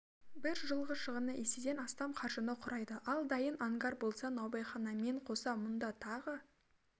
бір жылғы шығыны еседен астам қаржыны құрайды ал дайын ангар болса наубайханамен қоса мұнда тағы